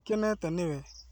Ndikenete nĩ we